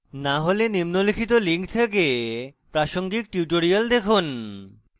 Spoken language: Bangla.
না হলে নিম্নলিখিত লিঙ্ক থেকে প্রাসঙ্গিক tutorials দেখুন